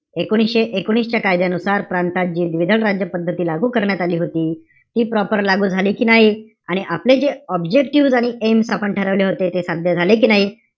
एकोणीशे एकोणीस च्या कायद्या नुसार प्रांतात जे द्विदल राज्य पद्धती लागू करण्यात आली होती. ती proper झाली कि नाही, आणि आपले जे objective आणि aims आपण ठरवले होते, ते साध्य झाले कि नाई?